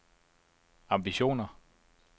ambitioner